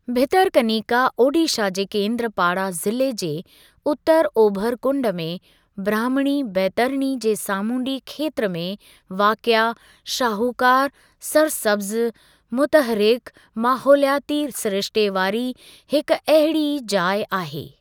भितरकनिका ओडिशा जे केंद्रपाड़ा ज़िले जे उत्तर ओभिर कुंड में ब्राह्मणी बैतरणी जे सामुंडी खेत्र में वाक़िअ शाहूकार, सरसब्ज़ मुतहरिकु माहौलियाती सिरिश्ते वारी हिकु अहिड़ी ई जाइ आहे।